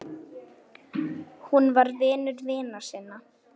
Hún var vinur vina sinna.